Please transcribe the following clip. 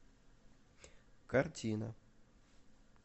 картина